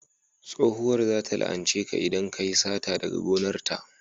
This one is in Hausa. tsohuwar za ta la'ance ka idan kayi sata daga gonar ta